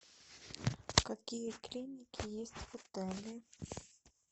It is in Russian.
какие клиники есть в отеле